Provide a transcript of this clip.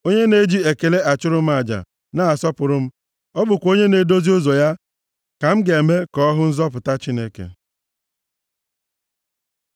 Onye na-eji ekele achụrụ m aja, na-asọpụrụ m, ọ bụkwa onye na-edozi ụzọ ya, ka m ga-eme ka ọ hụ nzọpụta Chineke.”